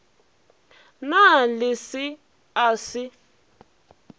na le se a se